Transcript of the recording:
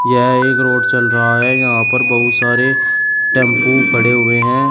यह एक रोड चल रहा है यहां पर बहुत सारे टेम्पू पड़े हुए हैं।